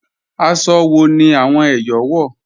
Àṣọ́ wọ̀ ni awọn Èyọ̀ wọ́?